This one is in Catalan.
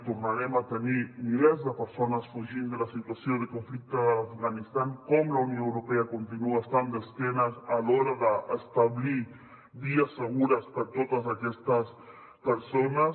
tornarem a tenir milers de persones fugint de la situació de conflicte de l’afganistan com la unió europea continua estant d’esquena a l’hora d’establir vies segures per a totes aquestes persones